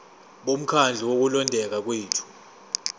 bomkhandlu wokulondeka kwethu